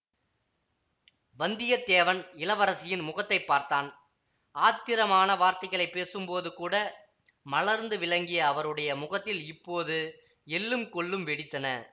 வந்தியத்தேவன் இளவரசரின் முகத்தை பார்த்தான் ஆத்திரமான வார்த்தைகளைப் பேசும்போதுகூட மலர்ந்துவிளங்கிய அவருடைய முகத்தில் இப்போது எள்ளும் கொள்ளும் வெடித்தன